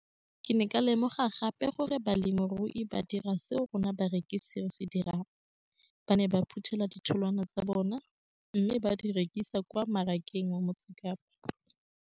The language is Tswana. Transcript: Ke ne ka lemoga gape gore balemirui ba dira seo rona barekisi re se dirang - ba ne ba phuthela ditholwana tsa bona mme ba di rekisa kwa marakeng wa Motsekapa.